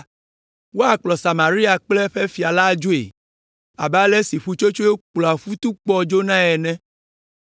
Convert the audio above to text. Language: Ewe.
Woakplɔ Samaria kple eƒe fia adzoe abe ale si ƒutsotsoe kplɔa futukpɔ dzonae ene.